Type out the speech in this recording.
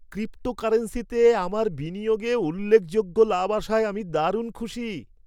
ক্রিপ্টোকারেন্সিতে আমার বিনিয়োগে উল্লেখযোগ্য লাভ আসায় আমি দারুণ খুশি।